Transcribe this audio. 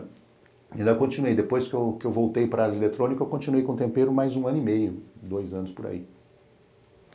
Ainda continuei, depois que eu que eu voltei para área eletrônica eu continuei com tempero mais um ano e meio, dois anos por aí.